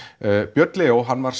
björn Leó var